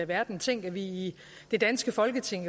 verden tænk at vi i det danske folketing